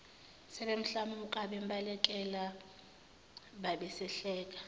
sebemhlamuka bembalekela babesahleka